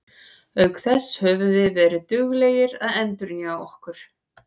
Auk þess höfum við verið mjög duglegir að endurnýja okkur.